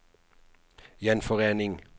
gjenforening